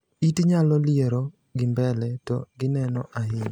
It nyalo liero gi mbele to gineno ahinya,